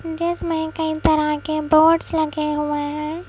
जिसमें कई तरह के बोर्ड्स लगे हुए हैं।